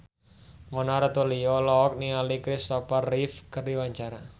Mona Ratuliu olohok ningali Kristopher Reeve keur diwawancara